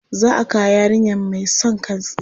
Za a kawo yarinyar mai son kan tsiya.